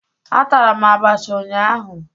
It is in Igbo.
Atara m abacha ụnyaahụ